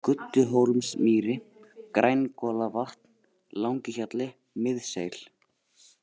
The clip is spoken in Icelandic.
Gudduhólsmýri, Grængolavatn, Langihjalli, Miðseil